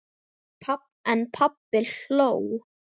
En pabbi hló.